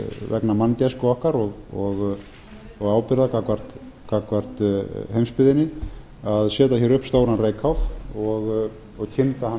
vegna manngæsku okkar og ábyrgðar gagnvart heimsbyggðinni að setja hér upp stóran reykháf og kynda